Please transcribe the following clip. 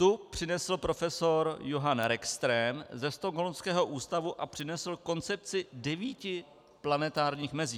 Tu přinesl profesor Johan Rockström ze stockholmského ústavu a přinesl koncepci devíti planetárních mezí.